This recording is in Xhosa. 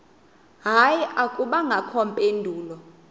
hayi akubangakho mpendulo